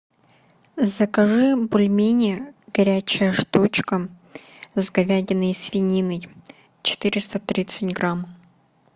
закажи бульмени горячая штучка с говядиной и свининой четыреста тридцать грамм